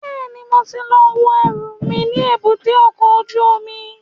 Bẹ́ẹ̀ni, mo ti lọ wo ẹrù mi ní èbúté ọkọ̀ ojú omi